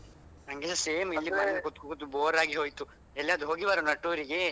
ನನ್ಗೆ same ಮನೆಯಲ್ಲಿ ಕೂತು ಕೂತು bore ಆಗಿ ಹೊಯ್ತು ಎಲ್ಲಾದ್ರೂ ಹೋಗಿ ಬರುವನ tour ಗೆ